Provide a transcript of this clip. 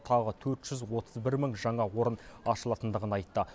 тағы төрт жүз отыз бір мың жаңа орын ашылатындығын айтты